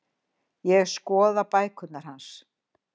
Ég skoða bækurnar hans.